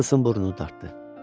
Nikolson burnunu dartdı.